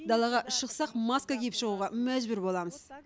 далаға шықсақ маска киіп шығуға мәжбүр боламыз